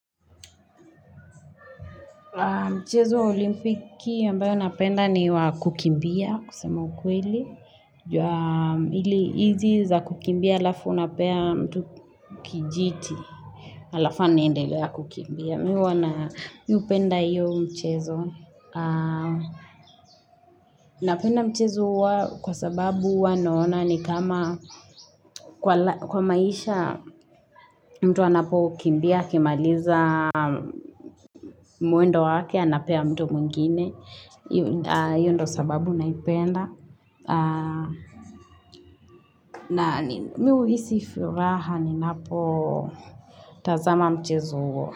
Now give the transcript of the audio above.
Mchezo wa olimpiki ambayo napenda ni wa kukimbia kusema ukweli. Ili hizi za kukimbia alafu unapea mtu kijiti. Alafa anaendelea kukimbia. Mimi huwa na mimi hupenda hiyo mchezo. Napenda mchezo huo kwa sababu huwa naona ni kama kwa maisha mtu anapo kimbia. Akimaliza mwendo wake anapea mtu mwingine hiyo ndo sababu naipenda na mi huhisi furaha ni napo tazama mchezo.